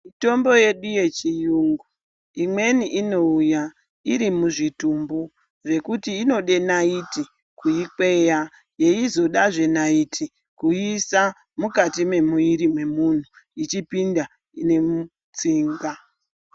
Mitombo yedu yechiyungu imweni inouya iri muzvitumbu, zvekuti inode naiti kuikweya,,yeizodazve naiti kuiisa mukati mwemuiri mwemunhu ichipinda nemutsinga.